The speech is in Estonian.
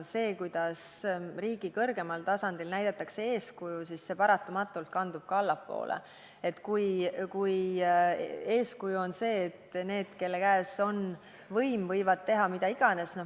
See, kuidas riigi kõrgemal tasandil näidatakse eeskuju, kandub paratamatult ka allapoole, kui eeskuju on selline, et need, kelle käes on võim, võivad teha mida iganes.